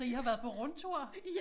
Så I har været på rundtur